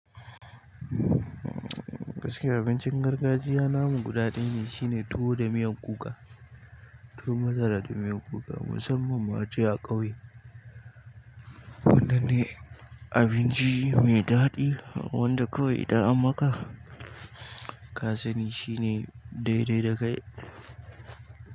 Gaskiya abincin gargajiya namu guda ɗaya shine tuwo da miyan kuka, tuwo masara da miyan kuka musamman ma je a ƙauye. Wannan ne abinci mai daɗi wanda kawai da ammaka. Kasani shine daidai da kai.